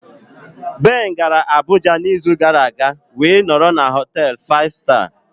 Ben gara Abuja n'izu gara aga wee nọrọ na họtel 5 star.